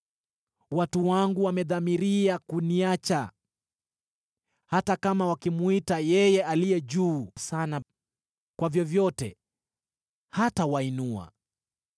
Watu wangu wamedhamiria kuniacha. Hata kama wakimwita Yeye Aliye Juu Sana, kwa vyovyote hatawainua.